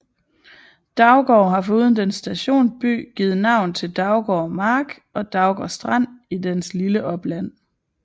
Daugård har foruden dens stationsby givet navn til Daugård Mark og Daugårdstrand i dens lille opland